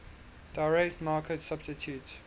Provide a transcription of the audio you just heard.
direct market substitute